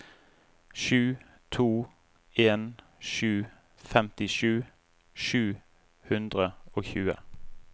sju to en sju femtisju sju hundre og tjue